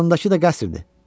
Yanındakı da qəsrdir.